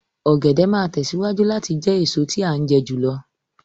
Ọ̀gẹ̀dẹ̀ máa tẹ̀síwájú láti a jẹ́ jù lọ